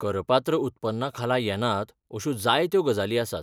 करपात्र उत्पन्ना खाला येनात अशो जायत्यो गजाली आसात.